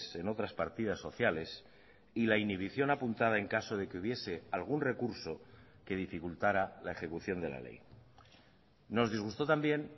en otras partidas sociales y la inhibición apuntada en caso de que hubiese algún recurso que dificultará la ejecución de la ley nos disgustó también